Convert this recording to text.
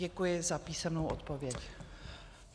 Děkuji za písemnou odpověď.